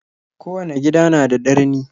Kowanne gida na da darni.